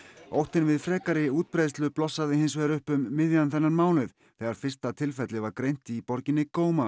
óttinn við frekar útbreiðslu blossaði hins vegar upp um miðjan þennan mánuð þegar fyrsta tilfellið var greint í borginni